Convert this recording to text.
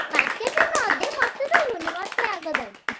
Market ରେ ନ ଦେ ମତେ ଦବୁନି ମତେ ଆଗ ଦବୁ।